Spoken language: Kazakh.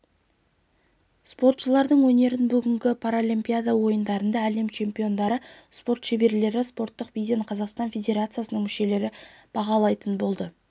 спортшылардың өнерін бүгінгі паралимпиада ойындарында әлем чемпиондары спорт шеберлері спорттық биден қазақстан федерациясының мүшелері бағалайтын болады